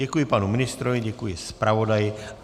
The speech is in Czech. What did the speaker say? Děkuji panu ministrovi, děkuji zpravodaji.